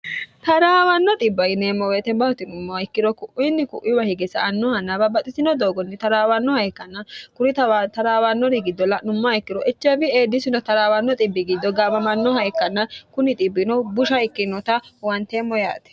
taraawanno dhiba yineemo woyiite mati yinummo ikkiro ku'iinni ku'iwa hige sa"annohanna babbaxxitino doogonni taraawannoha ikkanna kuri taraawannori giddo la'nummoha ikkiro HIV AIDS taraawanno dhibi giddo gaamamannoha ikkanna kuni dhibbino busha ikkinota huwanteemmo yaate